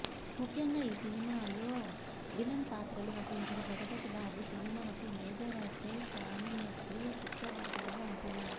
ముఖ్యంగా ఈ సినిమాలో విలన్ పాత్రలో నటించిన జగపతి బాబు సినిమాకు మేజర్ అసెట్ కానున్నట్లు చిత్ర వర్గాలు అంటున్నాయి